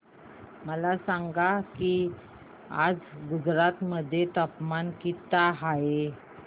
मला सांगा की आज गुजरात मध्ये तापमान किता आहे